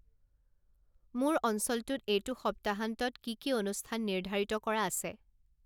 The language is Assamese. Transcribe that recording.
মোৰ অঞ্চলটোত এইটো সপ্তাহান্তত কি কি অনুস্থান নিৰ্ধাৰিত কৰা আছে